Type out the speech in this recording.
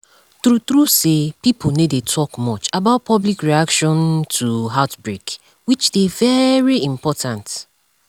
true true say pipo no dey talk much about public reaction um to outbreak which dey very important